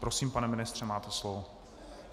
Prosím, pane ministře, máte slovo.